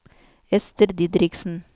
Ester Didriksen